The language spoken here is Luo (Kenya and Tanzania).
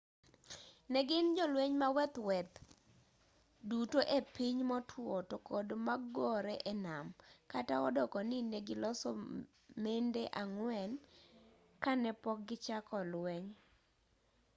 negin jolweny maweth maweth duto e piny motwo tokod magore e nam kata odoko ni negiloso mende ang'wen kanepok gichako lweny